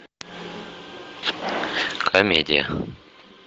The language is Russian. комедия